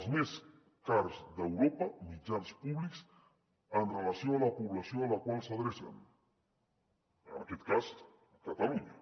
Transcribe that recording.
els més cars d’europa mitjans públics amb relació a la població a la qual s’adrecen en aquest cas catalunya